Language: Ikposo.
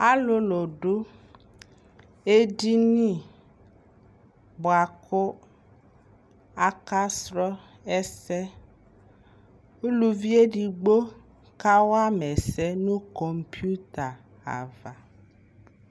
alʋlʋ dʋ ɛdini bʋakʋ aka srɔ ɛsɛ, ʋlʋvi ɛdigbɔ kawa ɛsɛ nʋkɔmpʋta aɣa